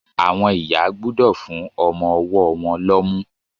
Àwọn ìyá gbúdọ̀ fún ọmọ-ọwọ́ won lọ́mú